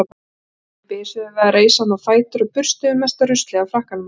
Strákarnir bisuðu við að reisa hann á fætur og burstuðu mesta ruslið af frakkanum hans.